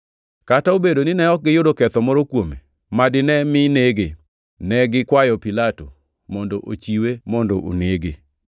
Kata obedo ni ne ok giyudo ketho moro kuome ma dine mi nege, ne gikwayo Pilato mondo ochiwe mondo onege.